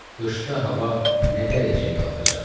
Qışda hava nə dərəcəyə qalxacaq?